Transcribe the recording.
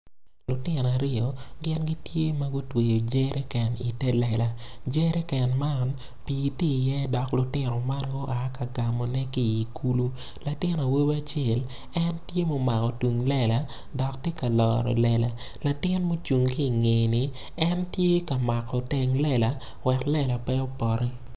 Lutino aryo gin gitye ma gutweyo jeriken ite lela jeriken man pii tye iye dok lutino man gua ka gamone ki i kulu latin awobi acel en tye ma omako tung lela dok tye ka loro lela latin ma ocung ki ingeye ni en tye ka mako teng lela wek lela pe opoti.